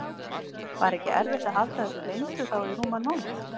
Var ekki erfitt að halda þessu leyndu þá í rúman mánuð?